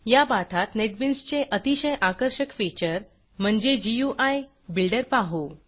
या पाठात नेटबीन्स चे अतिशय आकर्षक फीचर म्हणजे गुई बिल्डर पाहू